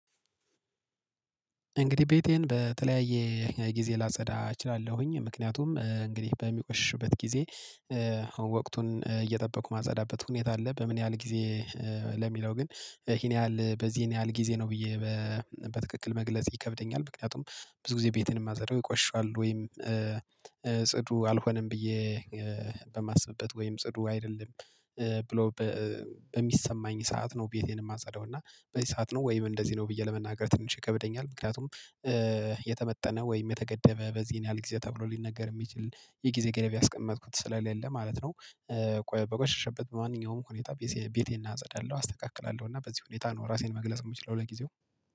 እንግዲህ ቤቴን በተለያየ ጊዜ ላጸዳ እችላለሁኝ ምክንያቱም እንግዲህ በሚቆሽሽበት ጊዜ አሁን ወቅቱን እየጠበቁ ማጸዳበት ሁኔታ አለ። በምን ያህል ጊዜ ለሚለው ግን ይሄን ያህል በዚህን ያህል ጊዜ ነው ብዬ በትክክል መግለጽ ይከብደኛል። ምክንያቱም ብዙ ጊዜ ቤትን የማጸዳው ይቆሻል ወይም ጽዱ አልሆነም ብዬ በማስብበት ወይም ጽዱ አይደለም ብሎ በሚሰማኝ ሰዓት ነው ቤቴን የማጸዳው እና በዚህ ሰዓት ነው ወይም እንደዚህ ነው ብዬ ለመናገር ትንሽ ይከብደኛል። ምክንያቱም የተመጠነ ወይም የተገደበ በዚህን ያህል ጊዜ ተብሎ ሊነገር የሚችል የጊዜ ግርፍ ያስቀመጥኩት ስለሌለ ማለት ነው። ቆየ በቆሸሸበት ማንኛውም ሁኔታ ቤቴን አጸዳለሁ አስተካክላለሁ እና በዚህ ሁኔታ ነው ራሴን መግለጽ የምችለው ለጊዜው።